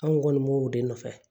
An kun kɔni m'o de nɔfɛ